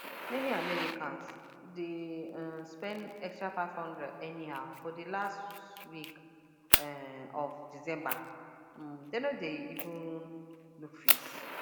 many americans dey um spend extra 500 anyhow for the last week um of december um dem no dey even look face